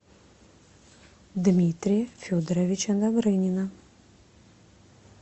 дмитрия федоровича добрынина